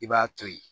I b'a to ye